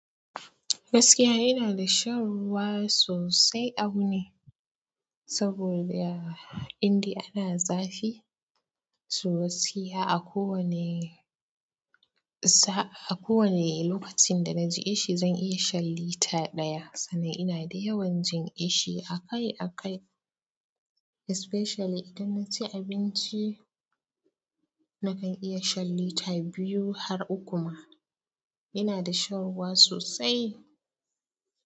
Gaskiya ina da shan ruwa sosai a wuni, saboda indai ana ana zafi. To gaskiya a kowane sa. A kowane lokacin da na ji ƙishi zan iya shan lita ɗaya. Sannan ina da yawan jin kishi akai-akai especially idan na ci abinci. Nakan iya shan lita biyu har uku ma. Ina da shan ruwa sosai.